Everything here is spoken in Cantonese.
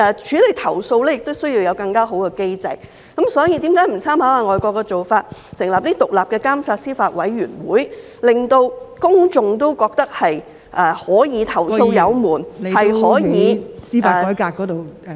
處理投訴亦需要有更好的機制，所以，為甚麼不參考外國的做法，成立獨立監察司法委員會，令公眾認為投訴有門，是可以......